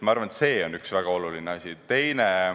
Ma arvan, et see on väga oluline asi.